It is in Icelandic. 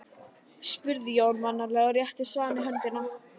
spurði Jói mannalega og rétti Svani höndina.